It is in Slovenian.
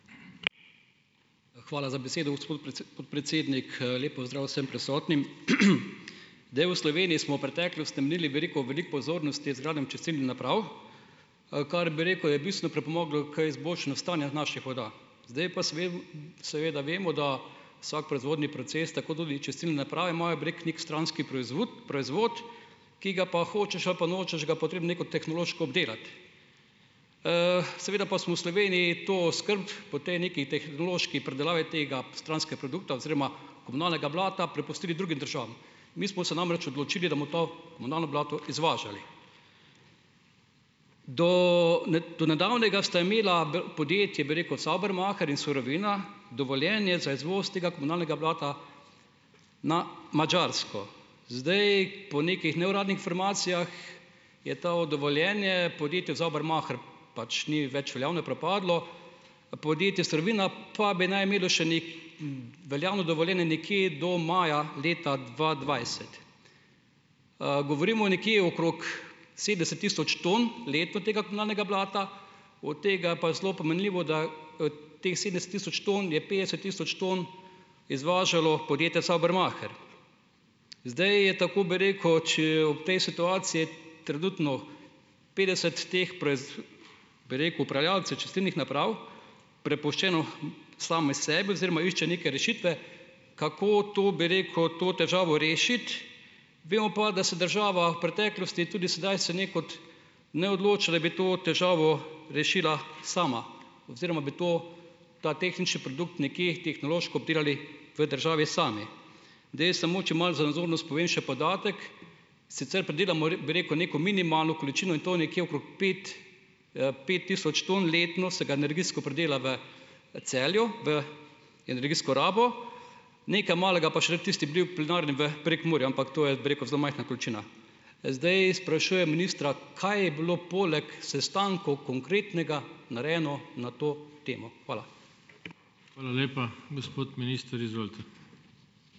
Hvala za besedo, gospod podpredsednik. Lep pozdrav vsem prisotnim. Zdaj, v Sloveniji smo v preteklost namenili veliko, veliko pozornosti izgradnjam čistilnih naprav, kar, bi rekel, je bistveno pripomoglo k izboljšanju stanja naših voda. Zdaj pa seveda vemo, da vsak proizvodni proces, tako tudi čistilne naprave, imajo, bi rekel, neki stranski proizvud proizvod, ki ga pa hočeš ali pa nočeš, ga je potrebno nekako tehnološko obdelati. Seveda pa smo v Sloveniji to skrb po tej neki tehnološki predelavi tega stranskega produkta oziroma komunalnega blata prepustili drugim državam. Mi smo se namreč odločili, da bomo to komunalno blato izvažali. Do do nedavnega sta imela, podjetje, bi rekel, Saubermacher in Surovina dovoljenje za izvoz tega komunalnega blata na Madžarsko. Zdaj, po nekih neuradnih informacijah, je to dovoljenje podjetju Saubermacher, pač ni več veljavno, je propadlo, podjetju Surovina pa bi naj imelo še veljavno dovoljenje nekje do maja leta dva dvajset. Govorimo nekje okrog sedemdeset tisoč ton leto tega komunalnega blata, od tega pa je zelo pomenljivo, da, teh sedemdeset tisoč ton je petdeset tisoč ton izvažalo podjetje Saubermacher. Zdaj je, tako bi rekel, če ob tej situaciji, trenutno petdeset teh bi rekel, upravljavcev čistilnih naprav prepuščeno samim sebi oziroma iščejo neke rešitve, kako to, bi rekel, to težavo rešiti. Vemo pa, da se država v preteklosti, tudi sedaj se ne, kot ne odloča, da bi to težavo rešila sama oziroma bi to ta tehnični produkt nekje tehnološko obdelali v državi sami. Zdaj, samo, če malo za nazornost povem še podatek, sicer predelamo, bi rekel, neko minimalno količino in to nekje okrog pet, pet tisoč ton letno, se ga energijsko predela v Celju v energijsko rabo, nekaj malega pa še v tisti bioplinarni v Prekmurju, ampak to je, bi rekel, zelo majhna količina. Zdaj sprašujem ministra: Kaj je bilo, poleg sestankov, konkretnega narejeno na to temo? Hvala.